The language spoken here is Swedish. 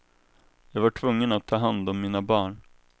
Jag var tvungen att ta hand om mina barn.